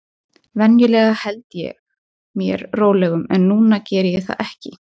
Venjulega held ég mér rólegum, en núna gerði ég það ekki.